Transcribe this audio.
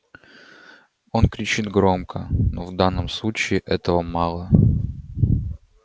он кричит громко но в данном случае этого мало